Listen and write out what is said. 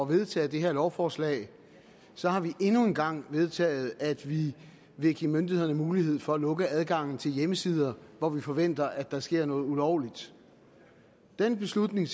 vedtage det her lovforslag så har vi endnu en gang vedtaget at vi vil give myndighederne mulighed for at lukke adgangen til hjemmesider hvor vi forventer at der sker noget ulovligt den beslutning